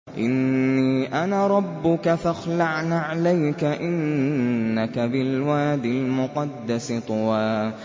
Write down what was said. إِنِّي أَنَا رَبُّكَ فَاخْلَعْ نَعْلَيْكَ ۖ إِنَّكَ بِالْوَادِ الْمُقَدَّسِ طُوًى